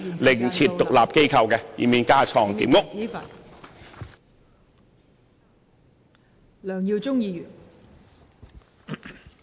另設獨立機構，以免架床疊屋。